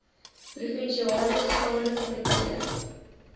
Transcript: provinsiale staande komitee